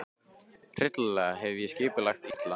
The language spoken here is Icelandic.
Hryllilega hef ég skipulagt allt illa.